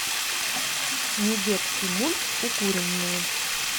недетский мульт укуренные